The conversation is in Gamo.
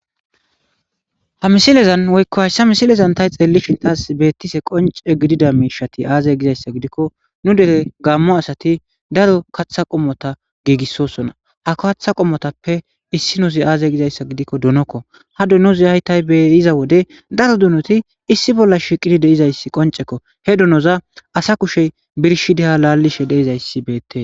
Ha misilezan woyko hayssa misilezan ta xeelishin qoncci betizay mishati azee? gizayssa gidikko nu dere gamo asati daro kaththa qommota giggisossona.ha kaththa pommotappe issinozi azee?giyayssa gidikko donnokko.ga donnoy ta beyiza wode daro donnoti issi bolla shiiqidi betizayssi qonccekko.he donnoza asa kushey birshiddi ha laalizay bettees.